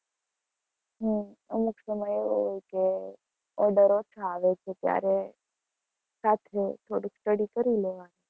હમ અમુક સમય એવો હોય કે order ઓછા આવે છે ત્યારે સાથે થોડુંક study કરી લેવાનું.